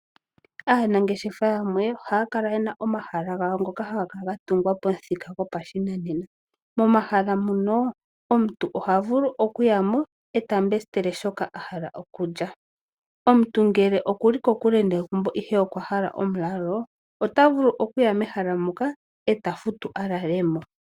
Aanangeshefa yamwe ohaya kala yena omahala gawo ngoka haga kala ga tungwa pamuthika goshinanena. Momahala muno omuntu oha vulu okuya mo e ta mbesitele shoka a hala okulya. Omuntu ngele okuli kokule negumbo ihe okwa hala omulalo, ota vulu okuya mehala moka e ta futu a lale mo.